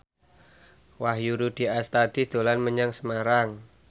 Wahyu Rudi Astadi dolan menyang Semarang